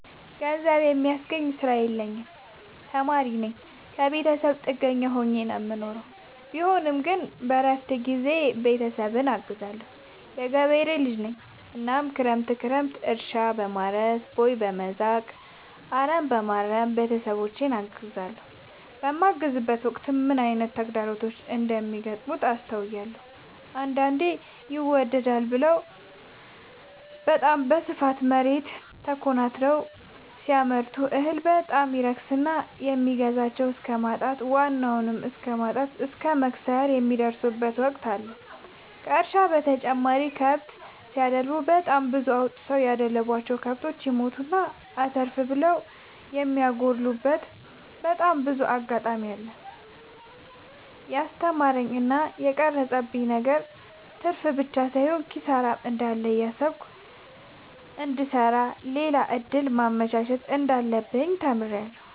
ገንዘብ የሚያስገኝ ስራ የለኝም ተማሪነኝ ከብተሰብ ጥገኛ ሆኜ ነው የምኖረው ቢሆንም ግን በረፍት ጊዜዬ ቤተሰብን አግዛለሁ። የገበሬ ልጅነኝ እናም ክረምት ክረምት እርሻ፣ በማረስ፣ ቦይ፣ በመዛቅ፣ አረምበማረም ቤተሰቦቼን አግዛለሁ። በማግዝበትም ወቅት ምን አይነት ተግዳሮቶች እንደሚገጥሙት አስተውያለሁ። አንዳንዴ ይመደዳል ብለው በታም በስፋት መሬት ተኮናትረው ሲያመርቱ እህል በጣም ይረክስና የሚገዛቸው እስከማጣት ዋናውን እስከማት እስከ መክሰር የሚደርሱበት ወቅት አለ ከእርሻ በተጨማሪ ከብት ሲደልቡ በጣም ብዙ አውጥተው ያደለቡቸው። ከብቶች ይሞቱና አተርፍ ብለው የሚያጎሉበቴ በጣም ብዙ አጋጣሚ አለ። የስተማረኝ እና የቀረፀብኝ ነገር ትርፍብቻ ሳይሆን ኪሳራም እንዳለ እያሰብኩ እንድሰራ ሌላ እድል ማመቻቸት እንዳለብኝ ተምሬበታለሁ።